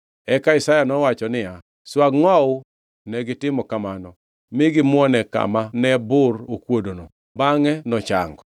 Eka Isaya nowacho niya, “Swag ngʼowu.” Negitimo kamano mi gimuone kama ne bur okuodono, bangʼe nochango.